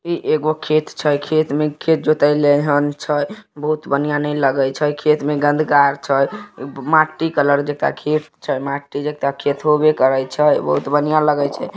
ई एगो खेत छई। खेत में खेत जोताई लई हन छई। बहुत बढ़ियां नहीं लगई छई। खेत में गंध कार छई माटी कलर (Color) जेता खेत छई। माटी जेता खेत होबे करई छई बहुत बढ़िया लगई छई।